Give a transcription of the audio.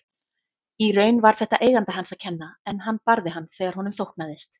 Í raun var þetta eiganda hans að kenna en hann barði hann þegar honum þóknaðist.